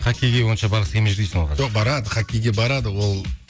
хоккейге онша барғысы келмей жүр дейсің ғой қазір жоқ барады хоккейге барады ол